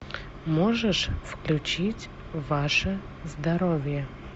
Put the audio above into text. можешь включить ваше здоровье